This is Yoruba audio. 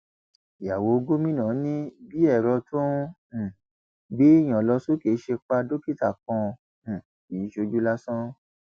ìyàwó gómìnà ni bí ẹrọ tó ń um gbéèyàn lọ sókè ṣe pa dókítà kan um kì í ṣojú lásán